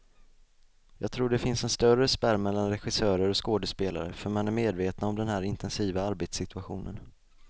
Jag tror det finns en större spärr mellan regissörer och skådespelare, för man är medvetna om den här intensiva arbetssituationen.